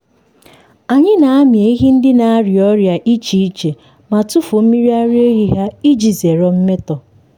anyị na-amị ehi ndị na-arịa ọrịa iche iche ma tufuo mmiri ara ehi ha iji zere mmetọ.